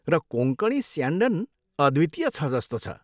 र कोँकणी स्यान्डन अद्वितीय छ जस्तो छ।